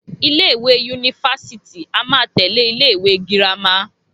Ilé ìwé yunifásítì a máa tẹ̀lé ilé ìwé girama